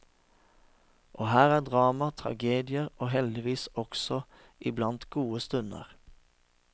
Og her er drama, tragedier og heldigvis også iblant gode stunder.